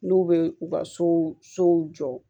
N'u bɛ u ka sow sow jɔ